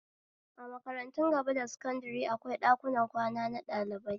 A makaratun gaba da sakandare akwai ɗakunan kwana na ɗalibai